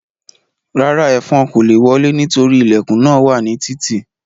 Rárá, ẹ́fọn kò le wọlé nítorí ilẹ̀kùn náà wà ní títì